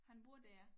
Han bor dér